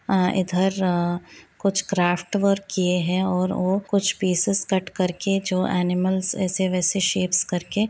अ इधर अ कुछ क्राफ्ट वर्क किए हैं और ओ कुछ पीसेस कट कर के जो एनिमल्स ऐसे वैसे शेप्स कर के --